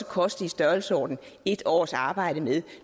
koste i størrelsesordenen et års arbejde med